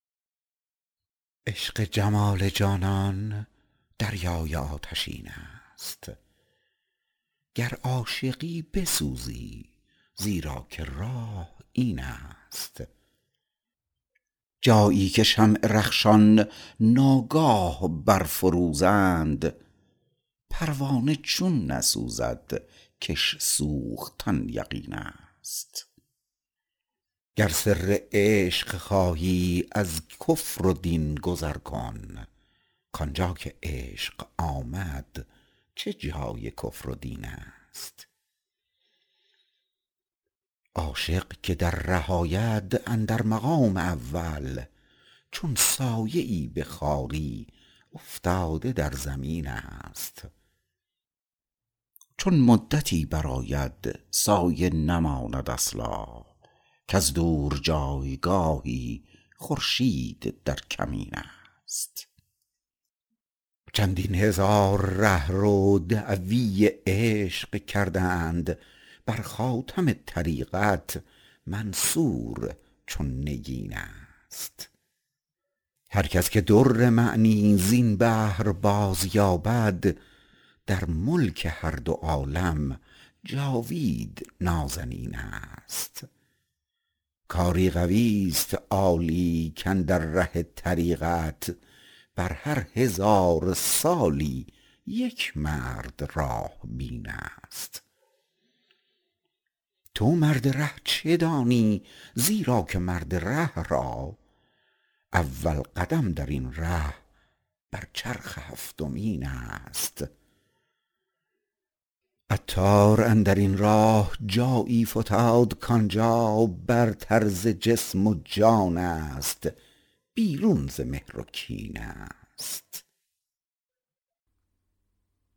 عشق جمال جانان دریای آتشین است گر عاشقی بسوزی زیرا که راه این است جایی که شمع رخشان ناگاه بر فروزند پروانه چون نسوزد کش سوختن یقین است گر سر عشق خواهی از کفر و دین گذر کن کانجا که عشق آمد چه جای کفر و دین است عاشق که در ره آید اندر مقام اول چون سایه ای به خواری افتاده در زمین است چون مدتی برآید سایه نماند اصلا کز دور جایگاهی خورشید در کمین است چندین هزار رهرو دعوی عشق کردند برخاتم طریقت منصور چون نگین است هرکس که در معنی زین بحر بازیابد در ملک هر دو عالم جاوید نازنین است کاری قوی است عالی کاندر ره طریقت بر هر هزار سالی یک مرد راه بین است تو مرد ره چه دانی زیرا که مرد ره را اول قدم درین ره بر چرخ هفتمین است عطار اندرین ره جایی فتاد کانجا برتر ز جسم و جان است بیرون ز مهر و کین است